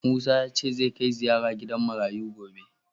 Musa ya ce zai kai ziraya gidan marayu gobe